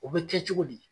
O bɛ kɛ cogo di